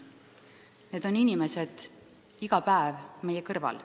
Need on inimesed, kes on iga päev meie kõrval.